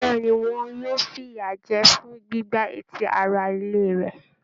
Bẹẹni, wọn yóò f'iya jẹ ẹ fún gbígbà etí ará ilé rẹ.